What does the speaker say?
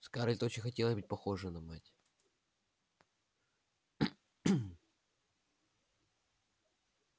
скарлетт очень хотелось быть похожей на мать